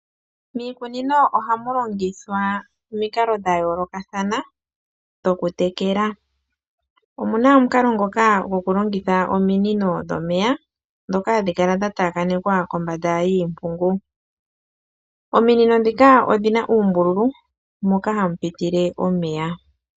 Miikunino ohamu longithwa omikalo dha yoolokathana dhokutekela. Omu na omukalo ngoka gokulongitha ominino dhomeya ndhoka hadhi kala dha taakanekwa kombanda yiimpungu. Ominino ndhika odhi na uumbululu moka hamu pitile omeya.